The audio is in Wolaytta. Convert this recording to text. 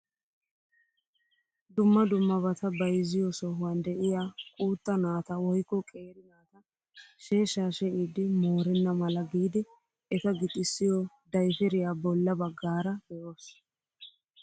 Dumma dummabata bayzziyoo sohuwaan de'iyaa quutta naata woykko qeeri naati sheeshsha she'idi moorenna mala giidi eta gixissiyoo dayperiyaa bolla baggaara be'oos!